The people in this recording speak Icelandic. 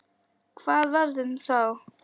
Hvað varð um þá?